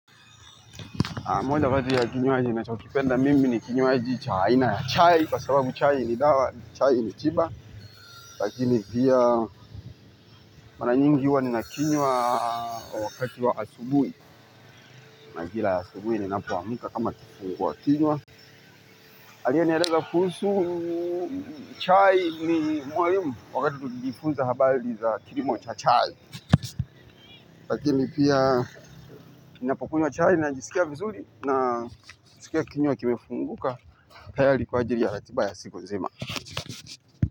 Moja kati ya kinywaji ninachokipenda mimi ni kinywaji aina ya chai, kwa sababu chai ni dawa, chai ni tiba. Lakini pia mara nyingi huwa nina kinywa wakati wa asubuhi majira ya asubuhi ninapoamka kama kifungua kinywa. Aliye nieleza kuhusu chai ni mwalimu wakati kujifunza habari za kilimo cha chai. Lakini pia ninapokunywa chai najisikia vizuri na najisikia kinywa kimefunguka. Tayari kwa ajili ya ratiba ya silu nzima.